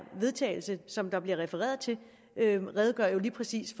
vedtagelse som der bliver refereret til redegør jo lige præcis